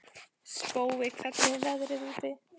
Spói, hvernig er veðrið úti?